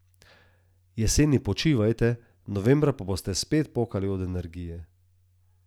Jeseni počivajte, novembra pa boste spet pokali od energije.